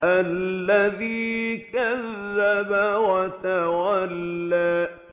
الَّذِي كَذَّبَ وَتَوَلَّىٰ